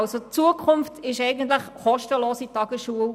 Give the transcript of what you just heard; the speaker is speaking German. Die Zukunft ist eine kostenlose Tagesschule.